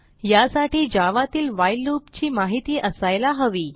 यासाठी जावा तील while loop ची माहिती असायला हवी